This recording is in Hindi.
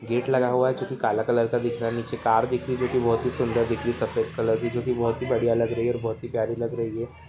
गेट लगा हुआ है जो कि काला कलर का दिख रहा है नीचे कार दिख रही है जो कि बहुत ही सुंदर दिख रही है सफ़ेद कलर की जो कि बहुत ही बढ़िया लग रही है और बहुत ही प्यारी लग रही है।